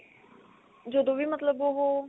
ਜਦੋਂ ਵੀ ਮਤਲਬ ਉਹ